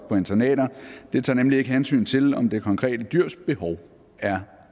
på internater tager nemlig ikke hensyn til om det konkrete dyrs behov er